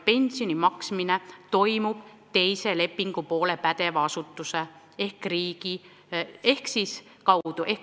Pensioni maksmine toimub teise lepingupoole pädeva asutuse ehk riigi kaudu.